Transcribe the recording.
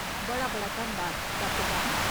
बड़ा बड़ा धन्नबाद, डाक्टर ब्राउन।